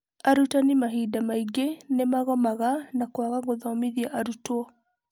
Arutani mahĩnda maingĩ nĩ magomaga na kwaga gũthomithia arutwo.